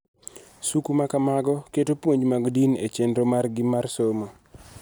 Suku ma kamago keto puonj mag din e chenro margi mar somo.